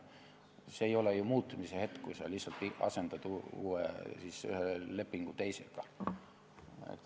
See ei ole ju muutumise hetk, kui sa lihtsalt asendad ühe lepingu teisega.